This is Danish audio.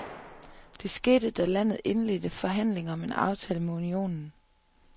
Det skete, da landet indledte forhandlinger om en aftale med unionen.